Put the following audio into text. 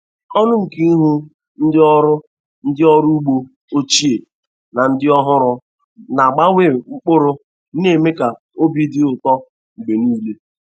Ọṅụ nke ịhụ ndị ọrụ ndị ọrụ ugbo ochie na ndị ọhụrụ na-agbanwe mkpụrụ na-eme ka obi dị ụtọ mgbe niile.